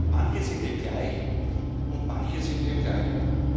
Manche sind eben gleich, und manche sind eben gleicher.